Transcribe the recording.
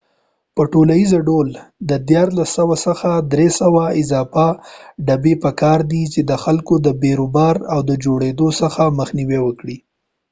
په ټولیزه ډول د 1300 څخه 300 اضافه ډبی په کار دي چې د خلکو د بیروبار د جوړیدو څخه مخنیوې وکړي